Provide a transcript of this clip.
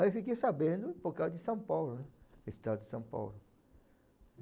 Aí fiquei sabendo por causa de São Paulo, né, Estado de São Paulo.